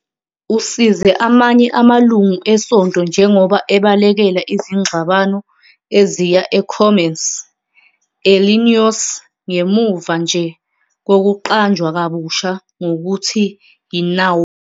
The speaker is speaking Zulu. Usize amanye amalungu esonto njengoba abalekela izingxabano eziya eCommerce, eIllinois, ngemuva nje kokuqanjwa kabusha ngokuthi yiNauvoo.